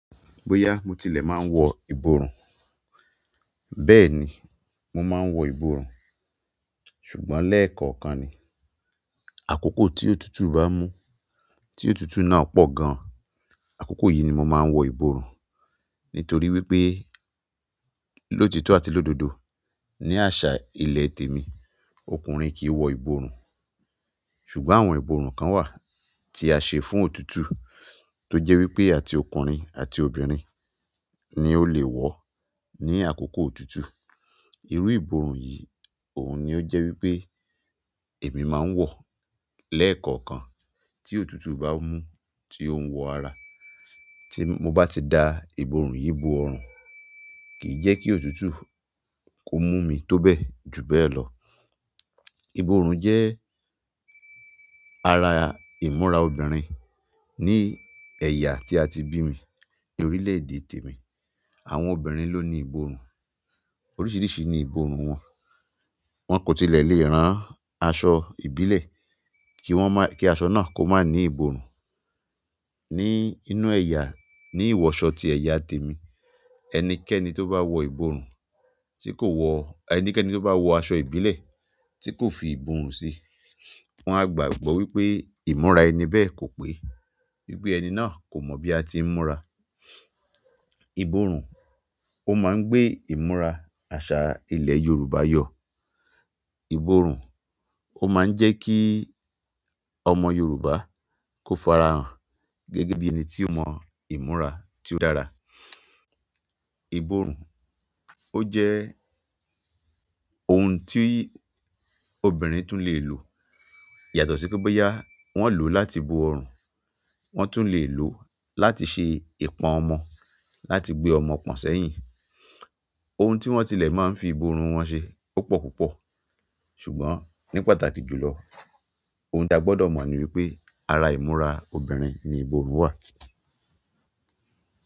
Bóyá mo tilẹ̀ máa ń wọ ìborùn, bẹ́ẹ̀ni mo máa ń wọ ìborùn, ṣùgbọ́n lẹ́ẹ̀kọ̀ọ̀kan ni. Àkókò tí òtútù bá mú, tí òtútù náà pọ̀ gan, àkókò yìí ni mo máa ń wọ ìborùn. Bóyá mo tilẹ̀ máa ń wọ ìborùn, bẹ́ẹ̀ni mo máa ń wọ ìborùn, ṣùgbọ́n lẹ́ẹ̀kọ̀kan ni. Ṣùgbọ́n àwọn ìborùn kan wà tí a ṣe fún òtútù, tó jẹ́ wípé àti ọkùnrin àti obìnrin ni ó le wọ̀ọ́ ní àkókò òtútù. Irú ìborùn yìí, òun ni ó jẹ́ wípé èmi máa ń wọ̀ lẹ́ẹ̀kọ̀kan tí òtútù bá mú tí ó ń wọ ara. Tí mo bá ti da ìborùn yìí bo ọrùn, kìí jẹ́ kí òtútù kó mú mi tó bẹ́ẹ̀ jù bẹ́ẹ̀ lọ. Ìborùn jẹ́ ara ìmúra obìnrin ní ẹ̀yà tí a ti bí mi ní orílẹ̀-èdè tèmi. Àwọn obìnrin ló ni ìborùn. Oríṣìíríṣìí ni ìborùn wọn. Wọn kò tilẹ̀ lè rán aṣọ ìbílẹ̀ kí wọ́n má, kí aṣọ náà kó má ní ìborùn. Ní inú ẹ̀yà, ní ìwọṣọ ti ẹ̀yà tèmi, ẹnikẹ́ni tó bá wọ ìborùn tí kò wọ, ẹnikẹ́ni tó bá wọ aṣọ ìbílẹ̀ tí kò fi ìborùn si, wọn a gbàgbọ́ pé ìmúra ẹni bẹ́ẹ̀ kò pé. Wípé ẹni náà, kò mọ̀ bí a tií múra. Ìborùn, ó máa ń gbé ìmúra àṣà ilẹ̀ Yorùbá yọ. Ìborùn, ó máa ń jẹ́ kí ọmọ Yorùbá kó farahàn gẹ́gẹ́ bí ẹni tí ó mọ ìmúra tí ó dára. Ìborùn, ó jẹ́ ohun tí obìnrin tún lè lò. Yàtọ̀ sí pé bóyá wọ́n lòó láti bo ọrùn, wọ́n tún le lòó láti ṣe ìpọ̀n ọmọ, láti gbé ọmọ pọ̀n sẹ́yìn. Ohun tí wọ́n tilẹ̀ máa ń fi ìborùn wọn ṣe, ó pọ̀ púpọ̀. Ṣùgbọ́n ní pàtàkì jùlọ, ohun táa gbọ́dọ̀ mọ̀ ni wípé ara ìmúra obìnrin ni ìborùn wà.